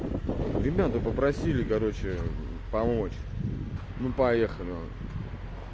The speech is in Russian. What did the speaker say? ребята попросили короче помочь ну поехали вот